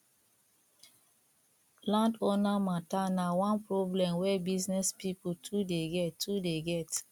landowner mata na one problem wey business pipo too dey get too dey get